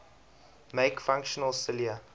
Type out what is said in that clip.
make functional cilia